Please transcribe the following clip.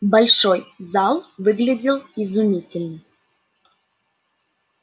большой зал выглядел изумительно